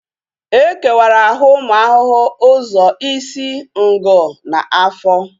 E kewara ahụ ụmụ ahụhụ ụzọ isi, ngụ na afọ